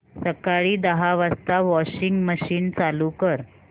सकाळी दहा वाजता वॉशिंग मशीन चालू कर